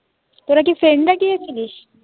তোরা কি friend রা গিয়েছিলিস?